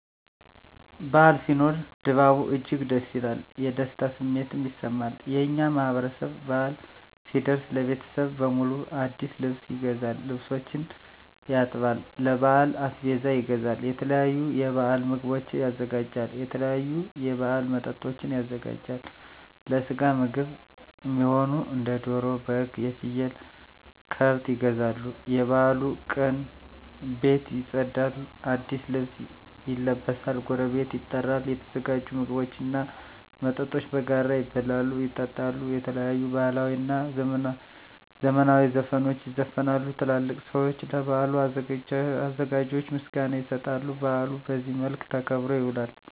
በዓል ሲኖር ድባቡ እጅግ ደስ ይላል። የደስታ ስሜትም ይሰማል። የእኛ ማህበረሰብ በአል ሲደርስ ለቤተሰብ በሙሉ አዲስ ልብስ ይገዛል፤ ልብሶችን ያጥባል፤ ለበዓል አስቤዛ ይገዛል፤ የተለያዩ የበዓል ምግቦችን ያዘጋጃል፤ የተለያዩ የበዓል መጠጦችን ያዘጋጃል፤ ለስጋ ምግብ እሚሆኑ እንደ ደሮ፤ በግ፤ ፍየል፤ ከብት ይገዛሉ፤ የበዓሉ ቀን ቤት ይፀዳል፤ አዲስ ልብስ ይለበሳል፤ ጎረቤት ይጠራል፤ የተዘጋጁ ምግቦች እና መጠጦች በጋራ ይበላሉ፤ ይጠጣሉ፤ የተለያዩ ባህላዊ እና ዘመናዊ ዘፈኖች ይዘፈናሉ፤ ትላልቅ ሰዊች ለበዓሉ አዘጋጆች ምስጋና ይሰጣሉ፤ በአሉ በዚህ መልክ ተከብሮ ይውላል።